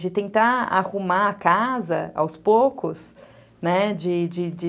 De tentar arrumar a casa aos poucos, né? de de de